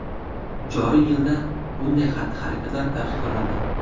Joriy yilda bunday xatti-harakatlar taqiqlanadi.